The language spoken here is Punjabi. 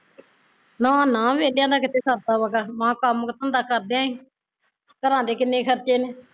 ਨਾ ਨਾ ਵੇਹਲਿਆ ਦਾ ਕਿੱਥੇ ਸਰਦਾ ਵਾਂ ਗਾਹਾਂ ਮਹਾ ਕੰਮ ਧੰਦਾ ਕਰਦਿਆ ਈ ਘਰਾਂ ਦੇ ਕਿੰਨੇ ਖਰਚੇ ਨੇ